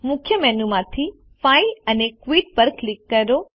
મુખ્ય મેનુ માંથી ફાઇલ અને ક્વિટ પર ક્લિક કરો